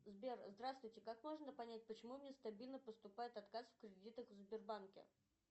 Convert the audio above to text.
сбер здравствуйте как можно понять почему мне стабильно поступает отказ в кредитах в сбербанке